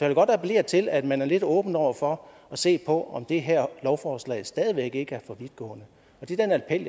vil godt appellere til at man er lidt åben over for at se på om det her lovforslag stadig væk ikke er for vidtgående og det er en appel